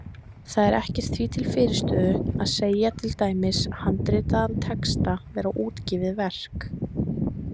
Þá er ekkert því til fyrirstöðu að segja til dæmis handritaðan texta vera útgefið verk.